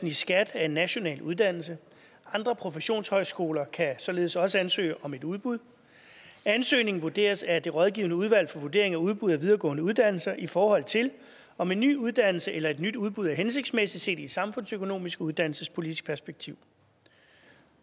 i skat er en national uddannelse andre professionshøjskoler kan således også ansøge om et udbud ansøgningen vurderes af det rådgivende udvalg for vurdering af udbud af videregående uddannelser i forhold til om en ny uddannelse eller et nyt udbud er hensigtsmæssigt set i et samfundsøkonomisk og uddannelsespolitisk perspektiv